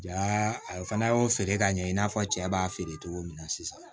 Ja a fana y'o feere ka ɲɛ i n'a fɔ cɛ b'a feere cogo min na sisan